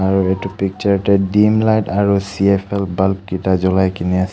আৰু এইটো পিক্সাৰ তে দিম লাইট আৰু চি_এফ_এল বালব্ কিটা জ্বলাই কিনে আছে.